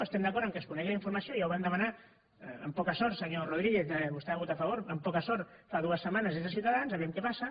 estem d’acord que es conegui la informació ja ho vam demanar amb poca sort senyor rodríguez vostè hi va votar a favor amb poca sort fa dues setmanes des de ciutadans vejam què passa